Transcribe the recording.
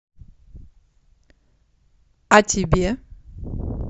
а тебе